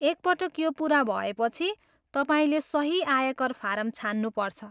एकपटक यो पुरा भएपछि, तपाईँले सही आयकर फारम छान्नु पर्छ।